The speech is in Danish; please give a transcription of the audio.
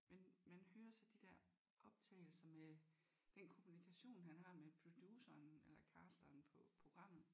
Men man hører så de der optagelser med den kommunikation han har med produceren eller casteren på programmet